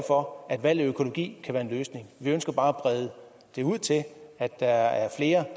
for at valg af økologi kan være en løsning vi ønsker bare at brede det ud til at der er flere